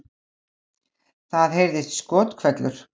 Það heyrðist skothvellur